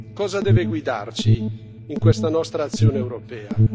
Cosa deve guidarci in questa nostra azione europea?